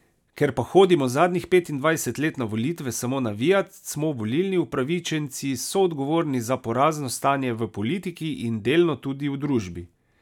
Ker pa hodimo zadnjih petindvajset let na volitve samo navijat, smo volilni upravičenci soodgovorni za porazno stanje v politiki in delno tudi v družbi.